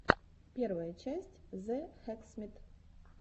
первая часть зе хэксмит